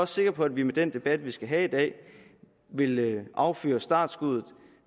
sikker på at vi med den debat vi skal have i dag vil affyre startskuddet